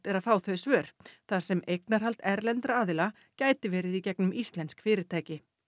er að fá þau svör þar sem eignarhald erlendra aðila gæti verið í gegnum íslensk fyrirtæki